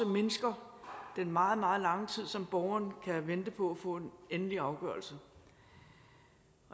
mindsker den meget meget lange tid som borgeren kan vente på at få en endelig afgørelse